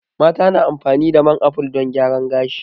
Mata na amfani da man aful don gyara gashi